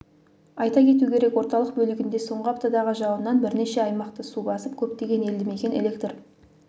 айта кету керек орталық бөлігінде соңғы аптадағы жауыннан бірнеше аймақты су басып көптеген елді мекен электр